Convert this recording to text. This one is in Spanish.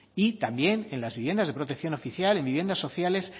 y también en las viviendas de protección oficial en viviendas sociales